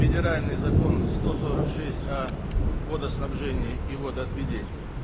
федеральный закон сто сорок шесть а водоснабжение и водоотведение